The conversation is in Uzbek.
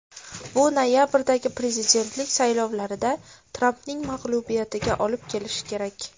Bu noyabrdagi prezidentlik saylovlarida Trampning mag‘lubiyatiga olib kelishi kerak.